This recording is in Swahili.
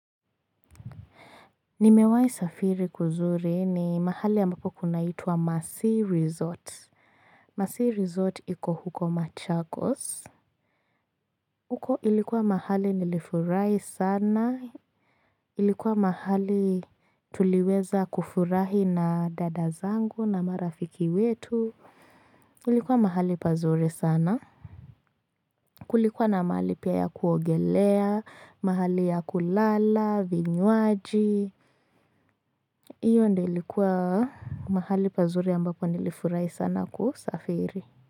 Nimewahi safiri kuzuri ni mahali ambapo kunaitwa Masi Resort. Masi Resort iko huko Machakos. Huko ilikuwa mahali nilifurahi sana. Ilikuwa mahali tuliweza kufurahi na dada zangu na marafiki wetu. Ilikuwa mahali pazuri sana. Kulikuwa na mahali pia ya kuogelea, mahali ya kulala, vinywaji, iyo ndio ilikuwa mahali pazuri ambapo nilifurai sana kusafiri.